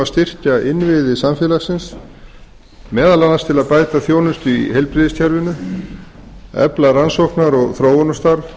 styrkja innviði samfélagsins meðal annars til að bæta þjónustu í heilbrigðiskerfinu efla rannsóknar og þróunarstarf